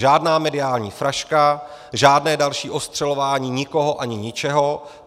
Žádná mediální fraška, žádné další ostřelování nikoho ani ničeho.